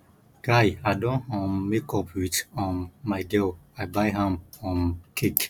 guy i don um make up wit um my girl i buy am um cake